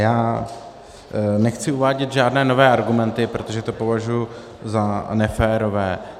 Já nechci uvádět žádné nové argumenty, protože to považuji za neférové.